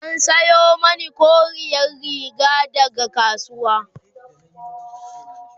an Sayo mani koriyar Riga daga kasuwa